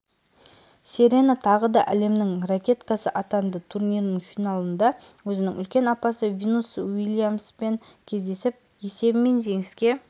серена тағы да әлемнің ракеткасы атанды турнирінің финалында өзінің үлкен апасы винус уильямспен кездесіп есебімен жеңіске